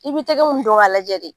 I bɛ tɛgɛ minnu dɔn k'a lajɛ de